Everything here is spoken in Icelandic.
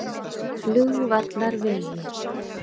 Flugvallarvegi